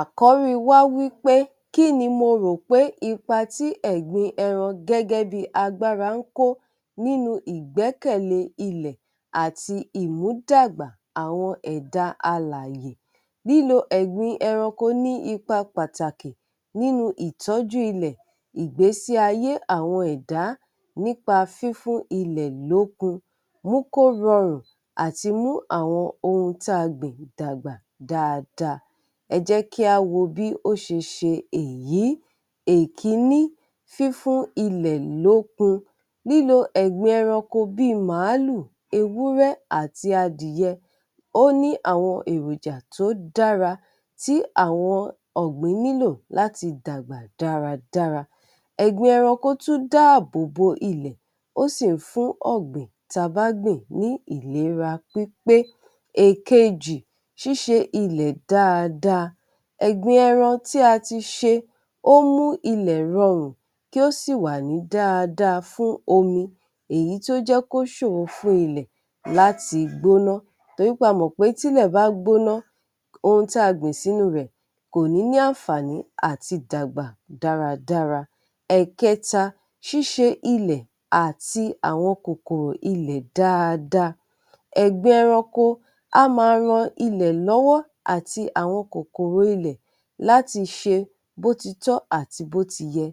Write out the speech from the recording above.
Àkọ́ríi wá wí pé "kí ni mo rò pé ipa tí ẹ̀gbin ẹran gẹ́gẹ́ bí i agbára ń kó nínú ìgbẹ́kẹ̀lẹ́ ilẹ̀ àti ìmúdàgbà àwọn ẹ̀da alààyè. Lílo ẹ̀gbin ẹranko ní ipa pàtàkì nínu ìtọ́jú ilẹ̀, ìgbésí ayé àwọn ẹ̀dá nípa fífún ilẹ̀ lókun mú kó rọrùn àti mú àwọn ohun tá a gbìn dàgbà dáadáa. Ẹ jẹ́ kí á wo bí ó ṣe ṣe èyí, èkíní: fífún ilẹ̀ lókun; lílo ẹ̀gbin ẹranko bí i màálù, ewúrẹ́ àti adìyẹ, ó ní àwọn èròjà tó dára tí àwọn ọ̀gbìn nílò láti dàgbà dáradára. Ẹ̀gbin ẹranko tún dáàbò ilẹ̀, ó sì ń fún ọ̀gbìn ta bá gbìn ní ìlera pípé. Èkejì, ṣíṣe ilẹ̀ dáadáa; ẹ̀gbin ẹran tí a ti ṣe, ó mú ilẹ̀ rọrùn, kí ó sì wà ní dáadáa fún omi, èyí tó jẹ́ kí ó ṣòro fún ilẹ̀ láti gbóná, torí pé a mọ̀ pé tilẹ̀ bá gbóná, ohun tí a gbìn sínú rẹ̀ kò ní ní àǹfààní àti dàgbà dáradára. Ẹ̀kẹta, ṣíṣe ilẹ̀ àti àwọn kòkòrò ilẹ̀ dáadáa; ẹ̀gbẹ ẹranko a máa ran ilẹ̀ lọ́wọ́ àti àwọn kòkòrò ilẹ̀ láti ṣe bó ti tọ́ àti bó ti yẹ,